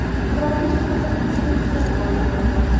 Qirolicha haqida juda kam ma’lumot bor.